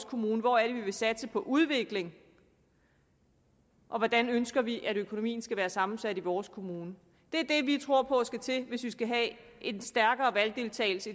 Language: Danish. kommune hvor er det vi vil satse på udvikling hvordan ønsker vi økonomien skal være sammensat i vores kommune det er det vi tror på skal til hvis vi skal have en stærkere valgdeltagelse